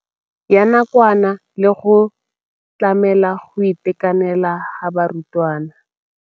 Ya nakwana le go tlamela go itekanela ga barutwana.